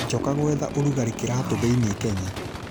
Njoka gwetha ũrugarĩ kiraatũ thĩinĩ Kenya